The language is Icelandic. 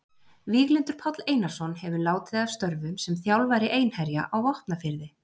Víglundur Páll Einarsson hefur látið af störfum sem þjálfari Einherja á Vopnafirði.